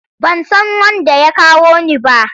Ban san wanda ya kawo ni ba.